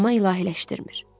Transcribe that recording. Amma ilahiləşdirmir.